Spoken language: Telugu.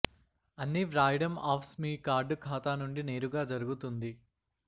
అన్ని వ్రాయడం ఆఫ్స్ మీ కార్డు ఖాతా నుండి నేరుగా జరుగుతుంది